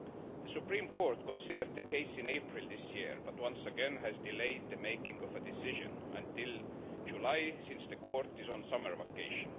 The Supreme Court considered the case in April this year but once again has delayed a decision until July, since the court is on summer vacation.